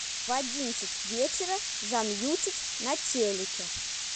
в одиннадцать вечера замьютить на телике